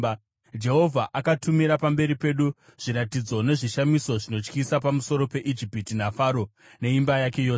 Jehovha akatumira pamberi pedu zviratidzo nezvishamiso zvinotyisa pamusoro peIjipiti naFaro neimba yake yose.